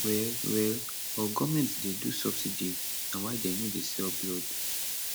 well well but goment dey do subsidy na why dem no dey sell blood